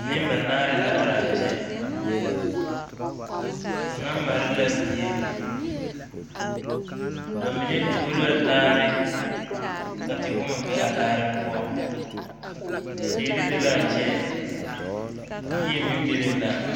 Nembanaare la are a kyɛ kaŋa mare la bie ba mine tuo la laare ka tewɔmɔ be a laare poɔ teere be la kyɛ yie meŋ bebe la.